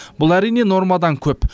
бұл әрине нормадан көп